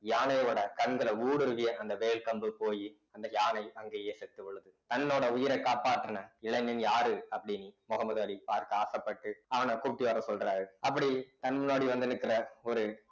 யானையோட கண்களை ஊடுருவிய அந்த வேல் கம்பு போயி அந்த யானை அங்கேயே செத்து விழுது தன்னோட உயிரை காப்பாத்தின இளைஞன் யாரு அப்படின்னு முகமது அலி பார்க்க ஆசைப்பட்டு அவனை கூட்டி வரச் சொல்றாரு அப்படி தன் முன்னாடி வந்து நிற்கிற ஒரு